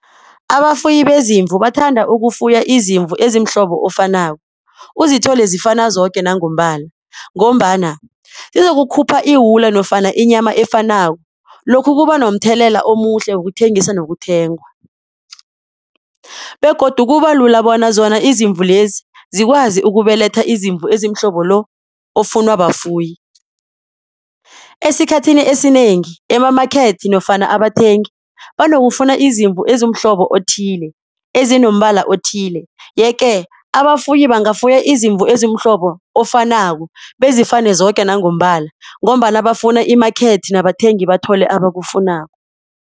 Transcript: Abafuyi bezimvu bathanda ukufuya izimvu ezimhlobo ofanako. Uzithole zifana zoke nangombala ngombana zizokhupha iwula nofana inyama efanako. Lokhu kubanomthelela omuhle wokuthengisa nokuthengwa begodu kubalula bona zona izimvu lezi zikwazi ukubeletha izimvu ezimhlobo lo ofuna bafuyi. Esikhathini esinengi emamakethe nofana abathengi banokufuna izimvu ezimhlobo othile ezinombala othile. Yeke abafuyi bangafuya izimvu ezimhlobo ofanako bezifane zoke nangombala ngombana bafuna i-market nabathengi bathole abakufunako.